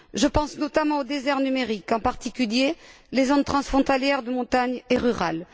Je pense notamment au désert numérique, en particulier, les zones transfrontalières de montagne et rurales.